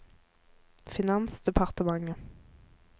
finansdepartementet